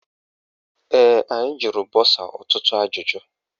Ee, anyị jụrụ bọsa ọtụtụ ajụjụ.